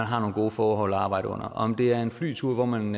har nogle gode forhold at arbejde under om det er en flyvetur hvor man